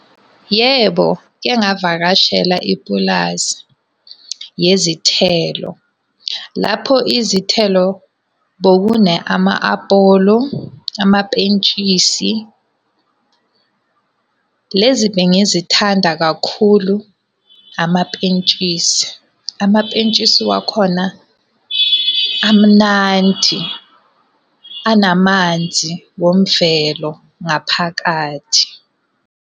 Yebo, ngike ngavakashela ipulazi yezithelo. Lapho izithelo bekune ama-apolo, amapentshisi. Lezi bengizithanda kakhulu amapentshisi. Amapentshisi wakhona amnandi, anamanzi womvelo ngaphakathi.